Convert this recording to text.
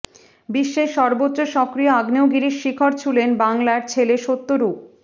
বিশ্বের সর্বোচ্চ সক্রিয় আগ্নেয়গিরির শিখর ছুঁলেন বাংলার ছেলে সত্যরূপ